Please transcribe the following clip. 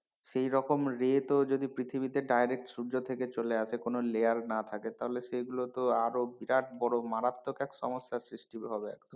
সেই রকম ray তো যদি পৃথিবীতে direct সূর্য থেকে চলে আসে কোনো layer না থাকে তাহলে সেগুলো তো আরো বিরাট বড় মারাত্মক এক সমস্যার সৃষ্টি হবে।